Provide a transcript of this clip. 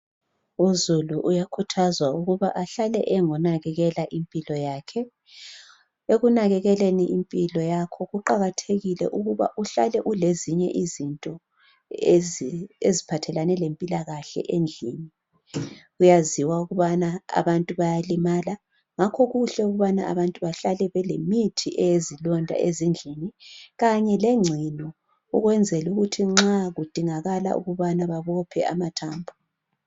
Uzulu uyakhuthazwa ukuthi ahlale engonanakekela impilo yakhe. Ekunakekeleni impilo yakho kuqakathekile ukuthi uhlale ule zinye izinto eziphathelane lempilakahle endlini .Kuyaziwa ukubana abantu bayalimala ngakho kuhle abantu behlale belemithi eyezilonda endlini kanye lengcino ukwenzela ukuthi nxa kudingakala ukubana babophe amathambo.